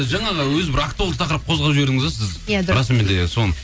жаңағы өзі бір актуалды тақырып қозғап жібердіңіз де сіз расымен де сол